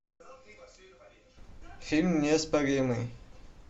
фильм неоспоримый